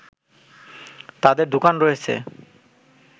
তাদের দোকান রয়েছে